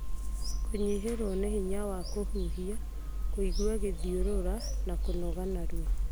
Kũnyihĩrwo nĩ hinya wa kũhuhia, kũigua gĩthiũrũra, na kũnoga narua.